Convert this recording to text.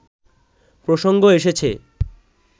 প্রসঙ্গ এসেছে